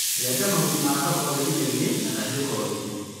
Renga makoni makoko gĩtinainĩ na kahiu kogĩ